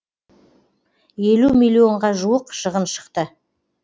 елу миллионға жуық шығын шықты